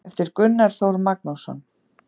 eftir gunnar þór magnússon